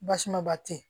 Basumaba tɛ yen